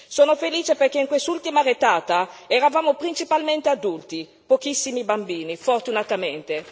Sono felice perché in quest'ultima retata eravamo principalmente adulti, pochissimi bambini fortunatamente.